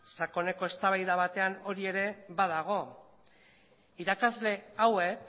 sakoneko eztabaida batean ere badago irakasle hauek